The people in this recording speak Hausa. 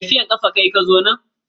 Tafiyar kafa kayi ka zo nan?